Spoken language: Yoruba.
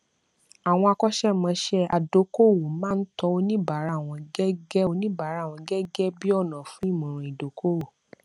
àwọn akọṣẹmọṣẹ adókòówò máa ń tọ oníbàárà wọn gẹgẹ oníbàárà wọn gẹgẹ bí ọnà fún ìmọràn ìdókòówò